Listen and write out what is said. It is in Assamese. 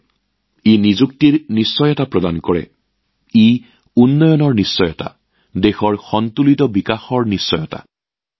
ভোকেল ফৰ লোকেল অভিযানে নিয়োগৰ নিশ্চয়তা এয়া উন্নয়নৰ নিশ্চয়তা এইটোৱেই দেশৰ সুষম উন্নয়নৰ নিশ্চয়তা প্ৰদান কৰে